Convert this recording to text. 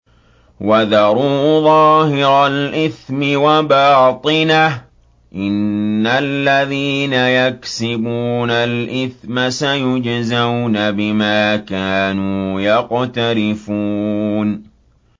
وَذَرُوا ظَاهِرَ الْإِثْمِ وَبَاطِنَهُ ۚ إِنَّ الَّذِينَ يَكْسِبُونَ الْإِثْمَ سَيُجْزَوْنَ بِمَا كَانُوا يَقْتَرِفُونَ